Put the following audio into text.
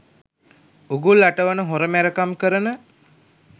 උගුල් අටවන හොර මැරකම් කරන.